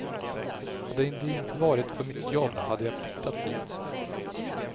Hade det inte varit för mitt jobb hade jag flyttat dit.